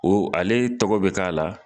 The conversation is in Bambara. O ale tɔgɔ bɛ k'a la.